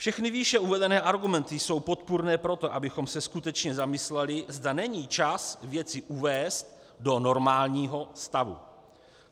Všechny výše uvedené argumenty jsou podpůrné pro to, abychom se skutečně zamysleli, zda není čas věci uvést do normálního stavu.